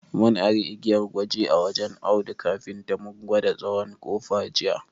Mun ari igiyar gwaji a wajen Audu kafinta mu ka gwada tsawon ƙofa jiya.